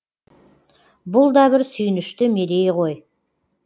бұл да бір сүйінішті мерей ғой